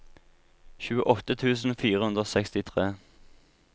tjueåtte tusen fire hundre og sekstitre